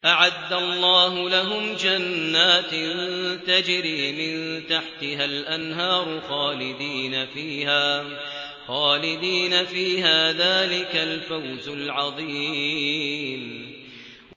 أَعَدَّ اللَّهُ لَهُمْ جَنَّاتٍ تَجْرِي مِن تَحْتِهَا الْأَنْهَارُ خَالِدِينَ فِيهَا ۚ ذَٰلِكَ الْفَوْزُ الْعَظِيمُ